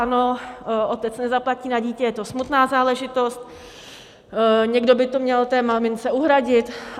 Ano, otec nezaplatí na dítě, je to smutná záležitost, někdo by to měl té mamince uhradit.